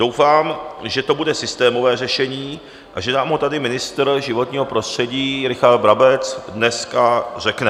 Doufám, že to bude systémové řešení a že nám ho tady ministr životního prostředí Richard Brabec dneska řekne.